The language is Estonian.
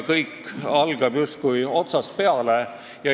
Kõik algab justkui otsast peale.